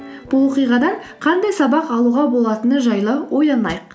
бұл оқиғадан қандай сабақ алуға болатыны жайлы ойланайық